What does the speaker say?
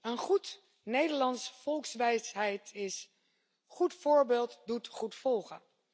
Een Nederlandse volkswijsheid luidt Goed voorbeeld doet goed volgen.